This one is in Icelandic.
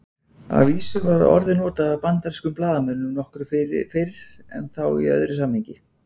Að vísu var orðið notað af bandarískum blaðamönnum nokkru fyrr en þá í öðru samhengi.